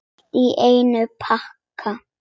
Allt í einum pakka!